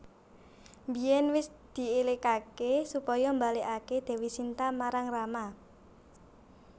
Biyèn wis dièlikaké supaya mbalèkaké Dèwi Sinta marang Rama